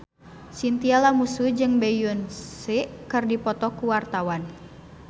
Chintya Lamusu jeung Beyonce keur dipoto ku wartawan